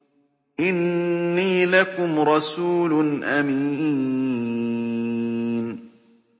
إِنِّي لَكُمْ رَسُولٌ أَمِينٌ